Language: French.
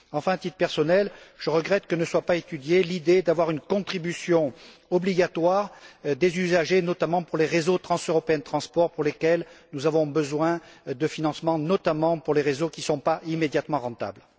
Enfin, à titre personnel, je regrette que ne soit pas étudiée l'idée d'instaurer une contribution obligatoire des usagers, notamment pour les réseaux transeuropéens de transport pour lesquels nous avons besoin de financements, notamment pour les réseaux qui ne sont pas immédiatement rentables.